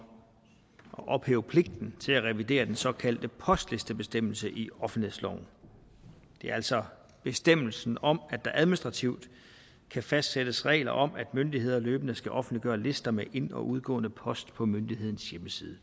at ophæve pligten til at revidere den såkaldte postlistebestemmelse i offentlighedsloven det er altså bestemmelsen om at der administrativt kan fastsættes regler om at myndigheder løbende skal offentliggøre lister med ind og udgående post på myndighedens hjemmeside